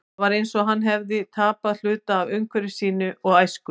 Það var eins og hann hefði tapað hluta af umhverfi sínu og æsku.